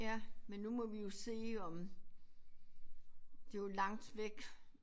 Ja men nu må vi jo se om det jo langt væk